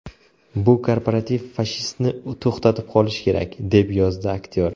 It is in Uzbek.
Bu korporativ fashistni to‘xtatib qolish kerak”, - deb yozdi aktyor.